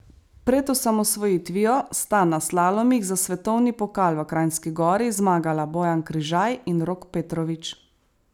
Pred osamosvojitvijo sta na slalomih za svetovni pokal v Kranjski Gori zmagovala Bojan Križaj in Rok Petrovič.